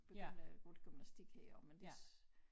Begyndte jeg at gå til gymnastik her men det